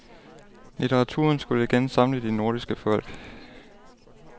Litteraturen skulle igen samle de nordiske folk.